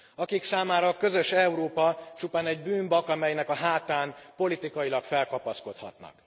Akik számára a közös Európa csupán egy bűnbak, amelynek a hátán politikailag felkapaszkodhatnak.